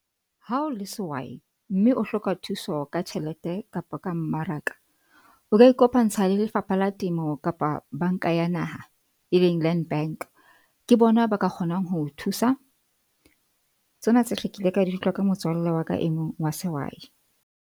Ha o le sehwai, mme o hloka thuso ka tjhelete kapa ka mmaraka, o ka ikopantsha le Lefapha la Temo kapa Bank-a ya Naha e leng Land Bank. Ke bona ba ka kgonang ho thusa. Tsena tsohle ke ile ka di utlwa ka motswalle wa ka e mong wa sehwai.